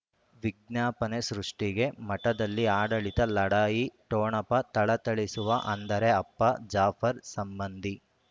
ವಿಜ್ಞಾಪನೆ ಸೃಷ್ಟಿಗೆ ಮಠದಲ್ಲಿ ಆಡಳಿತ ಲಢಾಯಿ ಠೊಣಪ ಥಳಥಳಿಸುವ ಅಂದರೆ ಅಪ್ಪ ಜಾಫರ್ ಸಂಬಂಧಿ